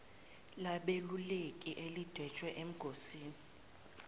labeluleki elidwetshwe engosini